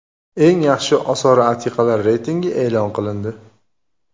Eng yaxshi osori atiqalar reytingi e’lon qilindi.